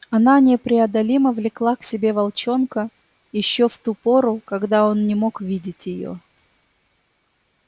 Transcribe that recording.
она непреодолимо влекла к себе волчонка ещё в ту пору когда он не мог видеть её